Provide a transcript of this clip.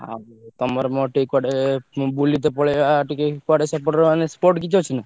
ଆଉ ତମର ମୋର ଟିକେ କୁଆଡେ ବୁଲିତେ ପଲେଇଆ ଟିକେ କୁଆଡେ ସେପଟେ ରେ spot କିଛି ଅଛି ନା।